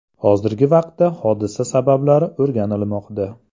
Hozirgi vaqtda hodisa sabablari o‘rganilmoqda.